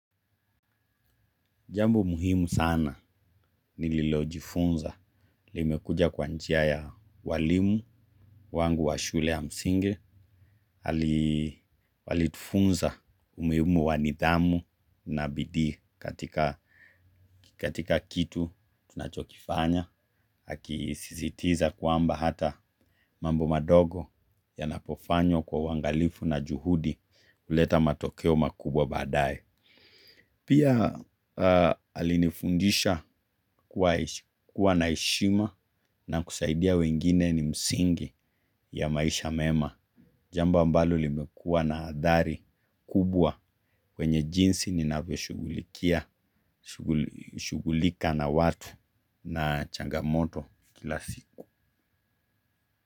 Jambo muhimu sana nililojifunza. Limekuja kwa njia ya walimu wangu wa shule ya msingi. Alitufunza umuhimu wa nidhamu na bidii katika kitu tunachokifanya. Akisisitiza kwamba hata mambo madogo yanapo fanywa kwa uangalifu na juhudi huleta matokeo makubwa baadaye. Pia alinifundisha kuwa na heshima na kusaidia wengine ni msingi ya maisha mema. Jambo ambalo limekuwa na athari kubwa kwenye jinsi ninavyo shughulikia shughulika na watu na changamoto kila siku.